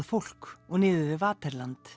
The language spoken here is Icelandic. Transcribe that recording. fólk og niður við